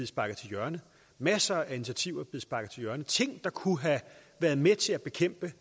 sparket til hjørne masser af initiativer der kunne have været med til at bekæmpe